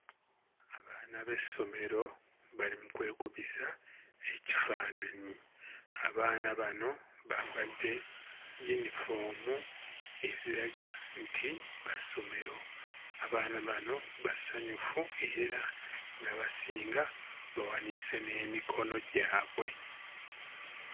Abaana b'essomero bali mu kwekubisa ekifaananyi, abaana bano bambadde yinifoomu eziraga nti ba ssomero, abaana bano basanyufu era ng'abasinga bawanise n'emikono gyabwe.